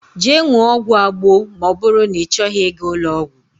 Jee ṅụọ ọgwụ Agbo ma oburu na ichoghi iga ulo ogwu.